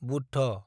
Buddha